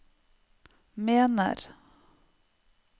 mener